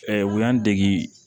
u y'an dege